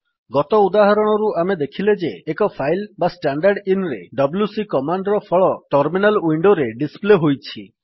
ଗତ ଉଦାହରଣରୁ ଆମେ ଦେଖିଲେ ଯେ ଏକ ଫାଇଲ୍ ବା ଷ୍ଟାଣ୍ଡରଦିନ ରେ ଡବ୍ଲ୍ୟୁସି କମାଣ୍ଡ୍ ର ଫଳ ଟର୍ମିନାଲ୍ ୱିଣ୍ଡୋରେ ଡିସ୍ପ୍ଲେ ହୋଇଛି